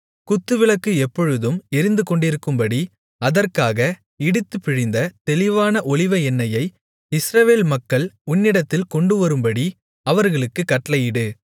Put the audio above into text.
குத்துவிளக்கு எப்பொழுதும் எரிந்துகொண்டிருக்கும்படி அதற்காக இடித்துப்பிழிந்த தெளிவான ஒலிவ எண்ணெயை இஸ்ரவேல் மக்கள் உன்னிடத்தில் கொண்டுவரும்படி அவர்களுக்குக் கட்டளையிடு